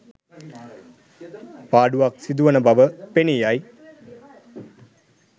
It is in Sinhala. පාඩුවක් සිදුවන බව පෙනී යයි.